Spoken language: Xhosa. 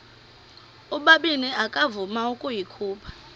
ubabini akavuma ukuyikhupha